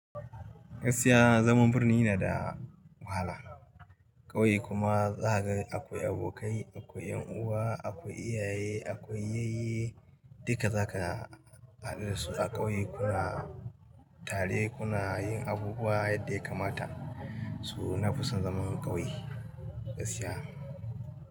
Gaskiya zaman birni yana da wahala. Ƙauye kuma za ka ga akwai abokai, akwai ƴan uwa, akwai iyaye, akwai yayye. Duka za ka haɗu da su a ƙauye. Kuna tare, kuna yin abubuwa yadda ya kamata. To na fusan zaman ƙauye gaskiya.